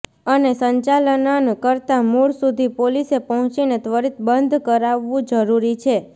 અને સંચાલનન કરતા મૂળ સુધી પોલીસે પહોંચીને ત્વરિત બંધ કરાવવું જરૂરી છે